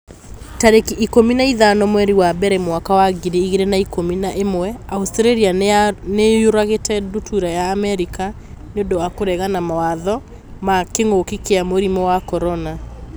Tarĩki ikũmi na ithano mweri wa mbere mwaka wa ngiri igĩrĩ na ikũmi na ĩmwe Australia nĩ yũragĩte ndutura ya Amerika 'nĩ ũndũ wa kũregana mawatho ma kĩngũki kia mũrimũ wa CORONA